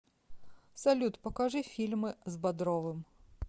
салют покажи фильмы с бодровым